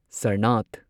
Sarnath